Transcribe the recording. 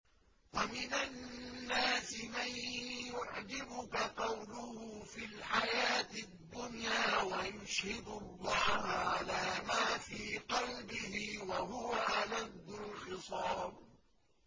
وَمِنَ النَّاسِ مَن يُعْجِبُكَ قَوْلُهُ فِي الْحَيَاةِ الدُّنْيَا وَيُشْهِدُ اللَّهَ عَلَىٰ مَا فِي قَلْبِهِ وَهُوَ أَلَدُّ الْخِصَامِ